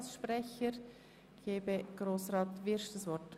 Das Wort haben die Antragsteller.